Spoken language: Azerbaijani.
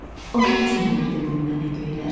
Onun üçün verdimi mənə göyləri?